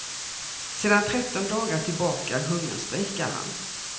Sedan tretton dagar tillbaka hungerstrejkar han.